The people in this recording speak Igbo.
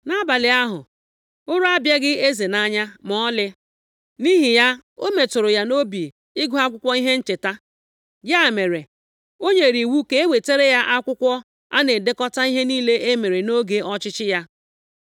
Nʼabalị ahụ, ụra abịaghị eze nʼanya ma ọlị. Nʼihi ya, o metụrụ ya nʼobi ịgụ akwụkwọ ihe ncheta. Ya mere, o nyere iwu ka e wetara ya akwụkwọ a na-edekọta ihe niile e mere nʼoge ọchịchị ya.